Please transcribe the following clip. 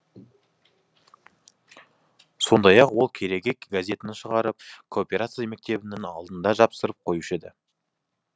сондай ақ ол кереге газетін шығарып кооперация мектебінің алдына жапсырып қоюшы еді